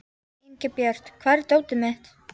Ingibjört, hvar er dótið mitt?